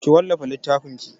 Ki wallafa littafinki!